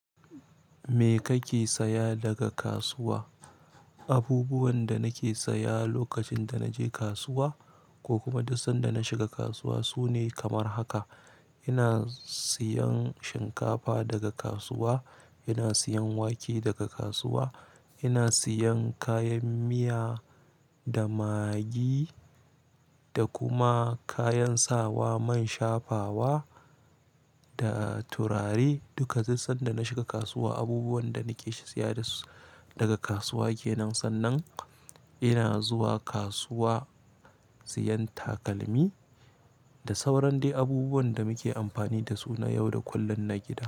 Me kake saya daga kasuwa? Abubuwan da nake saya lokacin da naje kasuwa ko kuma duk sanda na shiga kasuwa sune kamar haka. Ina siyan shinkafa daga kasuwa, ina siyan wake daga kasuwa, ina siyan kayan miya da magi da kuma kayan sawa man shafawa da turare duka duk sanda na shiga kasuwa. Abubuwan da nake siya daga kasuwa kenan. Sannan ina zuwa kasuwa siyan takalmi da sauran dai abubuwan da muke amfani da su na yau da kullum na gida.